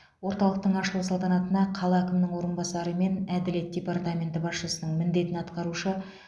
орталықтың ашылу салтанатына қала әкімінің орынбасары мен әділет департаменті басшысының міндетін атқарушы